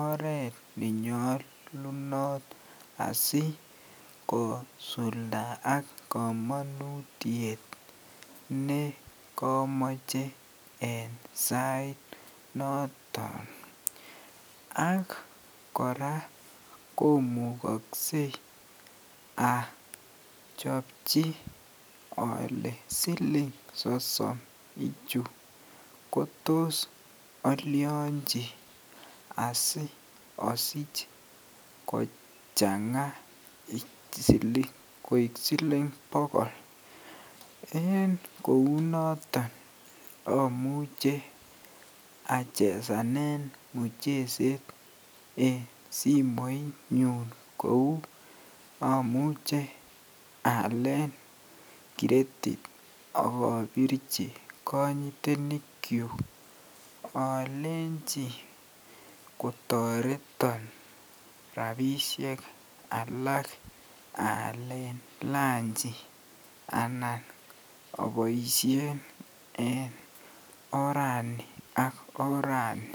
oreet nenyolunot asikosuldaak komonutiet nekomoche en sainoton ak kora komukokse achobchi alee siling sosom kotos olionchi osiosich kochanga koik siling bokol, en kounoton amuche achesanen mucheset en simoinyun kouu amuche aalen kiretit ak obirchi konytenikyuk olenchi kotoreton rabishek alak aalen lanchi anan oboishen en orani ak orani.